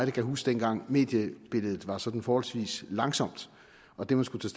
kan huske dengang mediebilledet var sådan forholdsvis langsomt og det man skulle